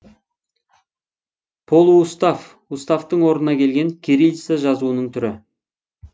полуустав уставтың орнына келген кириллица жазуының түрі